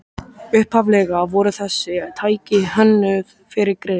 Upphaflega voru þessi tæki hönnuð fyrir grill